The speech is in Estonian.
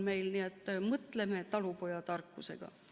Nii et mõtleme talupojatarkusega.